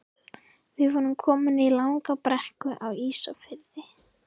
Við vorum komin í langa brekku Á Ísafirði.